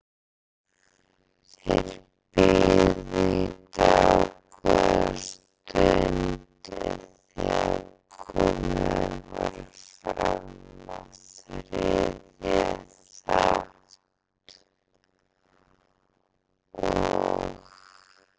Þeir biðu í dágóða stund en þegar komið var fram í þriðja þátt og